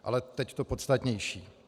Ale teď to podstatnější.